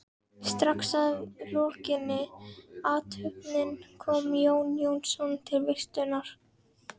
Strax að lokinni athöfninni kom Jón Jónsson til veislunnar.